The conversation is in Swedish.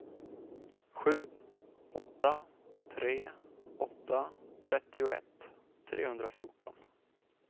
sju åtta tre åtta trettioett trehundrafjorton